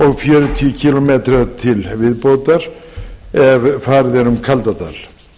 og fjörutíu kílómetra til viðbótar ef farið er um kaldadal